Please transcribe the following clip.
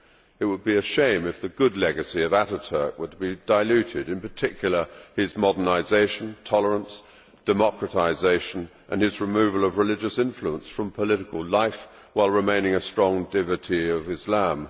It would be a shame if the good legacy of Atatürk were to be diluted, in particular his modernisation, tolerance, democratisation and his removal of religious influence from political life while remaining a strong devotee of Islam.